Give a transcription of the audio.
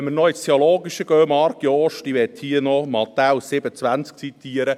Und wenn wir noch ins Theologische gehen, Marc Jost: Ich möchte hier Matthäus 7.20 zitieren: